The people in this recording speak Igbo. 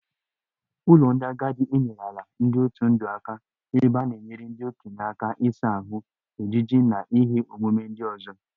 Ụlọ ndị agadi enyerela ndị otu ndụ aka ebe a na-enyere ndị okenye aka ịsa ahụ, ejiji na ihe omume ndị ọzọ